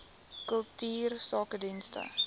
kultuursakedienste